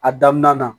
A daminɛ na